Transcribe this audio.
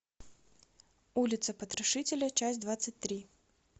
улица потрошителя часть двадцать три